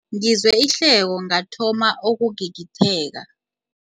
Ngizwe ihleko ngathoma ukugigitheka.